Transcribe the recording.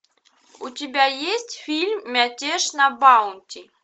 у тебя есть фильм мятеж на баунти